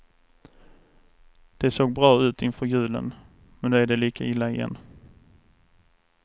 Det såg bra ut inför julen, men nu är det lika illa igen.